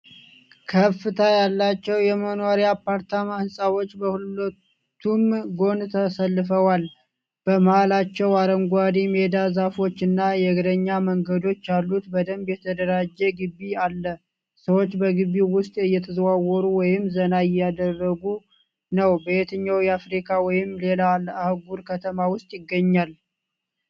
ከፍታ ያላቸው የመኖሪያ አፓርታማ ሕንፃዎች በሁለቱም ጎን ተሰልፈዋል። በመሃላቸው አረንጓዴ ሜዳ፣ ዛፎች እና የእግረኛ መንገዶች ያሉት በደንብ የተደራጀ ግቢ አለ። ሰዎች በግቢው ውስጥ እየተዘዋወሩ ወይም ዘና እያደረጉ ነው። በየትኛው የአፍሪካ ወይም ሌላ አህጉር ከተማ ውስጥ ይገኛል?